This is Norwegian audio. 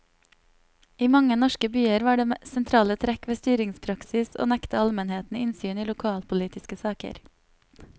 I mange norske byer var det sentrale trekk ved styringspraksis å nekte almenheten innsyn i lokalpolitiske saker.